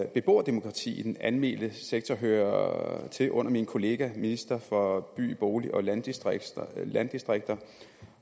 beboerdemokrati i den almene sektor hører til under min kollega ministeren for by bolig og landdistrikter landdistrikter